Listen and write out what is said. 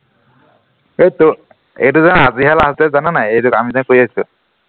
সেইটো এইটো যেন আজিহে last date জান নাই এইটোক আমি যে কৰি আছো